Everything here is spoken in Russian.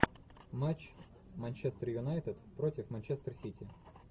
матч манчестер юнайтед против манчестер сити